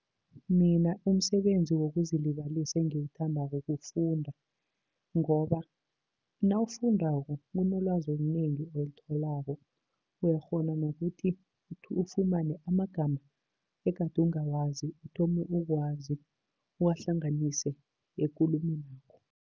Mina umsebenzi wokuzilibalisa engiwuthandako kufunda, ngoba nawufundako kunolwazi olunengi olitholako. Uyakghona nokuthi ufumane amagama egade ungawazi uthome ukuwazi, uwahlanganise ekulumeni yakho.